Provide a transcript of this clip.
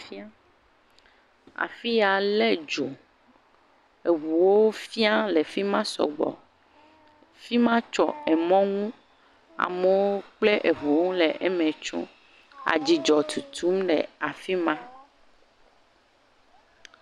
Kea afi ya le dzo. Eŋuwo fia le fi ma sɔgbɔ. Fi ma tsɔ emɔ nu. Amewo kple eŋuwo le eme tsom. Adzudɔ tutum le afi ma.